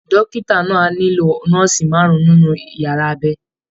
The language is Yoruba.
Dókítà náà á nílò nọ́ọ̀sì márùn-ún nínú yàrá abẹ